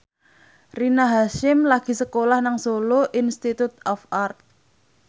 Rina Hasyim lagi sekolah nang Solo Institute of Art